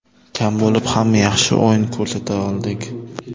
Kam bo‘lib ham yaxshi o‘yin ko‘rsata oldik.